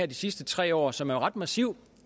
de sidste tre år som er ret massiv